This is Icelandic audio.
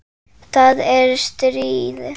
Það er stríð.